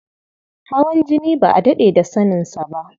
Hawan jini ba a daɗe da saninsa ba.